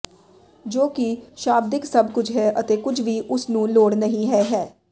ਜੋ ਕਿ ਸ਼ਾਬਦਿਕ ਸਭ ਕੁਝ ਹੈ ਅਤੇ ਕੁਝ ਵੀ ਉਸ ਨੂੰ ਲੋੜ ਨਹੀ ਹੈ ਹੈ